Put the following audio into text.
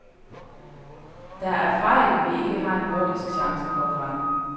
Der er fejl, vi ikke har en jordisk chance for at fange.